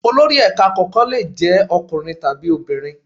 Olori ẹ̀ka kọ̀ọ̀kan lè jẹ́ ọkùnrin tàbí obìnrin.